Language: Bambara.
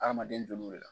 Adamaden jol'o la